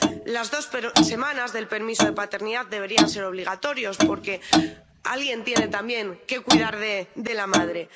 Las dos semanas del permiso de paternidad deberían ser obligatorias, porque alguien tiene también que cuidar de la madre.